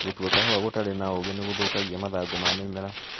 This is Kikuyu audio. Gũtua kahũa gũtarĩ na ũgĩ nĩgũthũkagia mathangũ ma mĩmera.